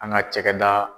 An ka cakɛda